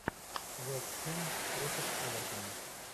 вестхэм против эвертона